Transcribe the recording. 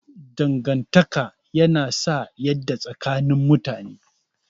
Dangantaka yana sa yadda tsakanin mutane.